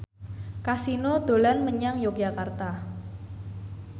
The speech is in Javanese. Kasino dolan menyang Yogyakarta